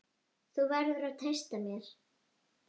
Þú verður að treysta mér